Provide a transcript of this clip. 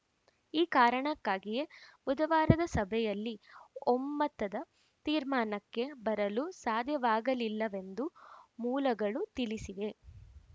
ಈ ಕಾರಣಕ್ಕಾಗಿಯೇ ಬುಧವಾರದ ಸಭೆಯಲ್ಲಿ ಒಮ್ಮತದ ತೀರ್ಮಾನಕ್ಕೆ ಬರಲು ಸಾಧ್ಯವಾಗಲಿಲ್ಲವೆಂದು ಮೂಲಗಳು ತಿಳಿಸಿವೆ